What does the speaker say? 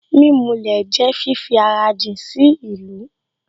Mímulẹ̀ jẹ́ fífi ara jìn sí ìlú